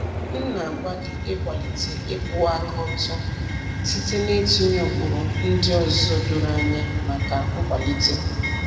M na-agbalị ịkwalite ịkwụwa aka ọtọ site n'ịtụnye ụkpụrụ ndị ọzọ doro anya maka nkwalite.